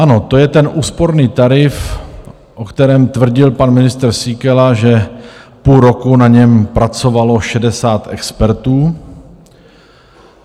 Ano, to je ten úsporný tarif, o kterém tvrdil pan ministr Síkela, že půl roku na něm pracovalo 60 expertů.